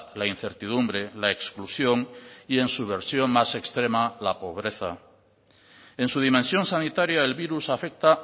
la incertidumbre la exclusión y en su versión más extrema la pobreza en su dimensión sanitaria el virus afecta